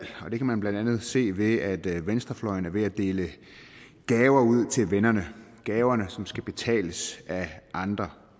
og det kan man blandt andet se ved at venstrefløjen er ved at dele gaver ud til vennerne gaver som skal betales af andre